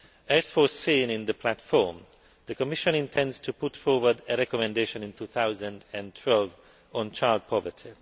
As foreseen in the Platform, the Commission intends to put forward a recommendation in 2012 on child poverty.